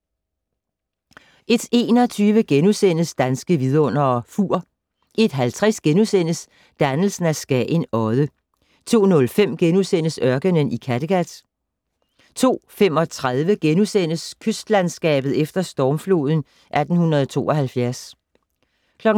01:21: Danske Vidundere: Fur * 01:50: Dannelsen af Skagen Odde * 02:05: Ørkenen i Kattegat * 02:35: Kystlandskabet efter stormfloden 1872 * 02:50: